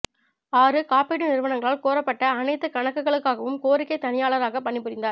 ஆறு காப்பீட்டு நிறுவனங்களால் கோரப்பட்ட அனைத்து கணக்குகளுக்காகவும் கோரிக்கை தணிக்கையாளராக பணிபுரிந்தார்